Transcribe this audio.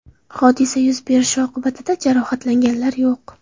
Hodisa yuz berishi oqibatida jarohatlanganlar yo‘q”.